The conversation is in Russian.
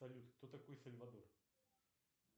салют кто такой сальвадор